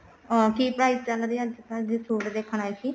ਅਹ ਕੀ price ਚੱਲ ਰਿਹਾ ਅੱਜਕਲ ਜੇ suit ਦੇਖਣ ਆਏ ਸੀ